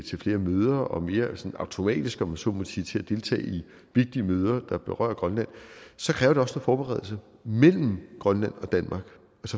til flere møder og mere automatisk om jeg så må sige deltage i vigtige møder der berører grønland så kræver det også noget forberedelse mellem grønland og danmark